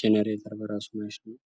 ጄኔሬተር በራሱ ማሽን ነው።